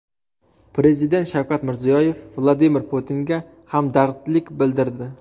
Prezident Shavkat Mirziyoyev Vladimir Putinga hamdardlik bildirdi.